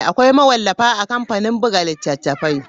Akwai mawallafa a kamfanin buga littattafai.